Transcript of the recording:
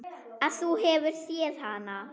Að þú hafir séð hana?